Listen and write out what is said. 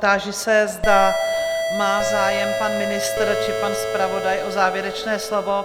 Táži se, zda má zájem pan ministr či pan zpravodaj o závěrečné slovo?